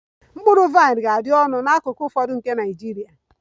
Mkpụrụ vaịn ga-adị oke ọnụ n'akụkụ ụfọdụ nke Nigeria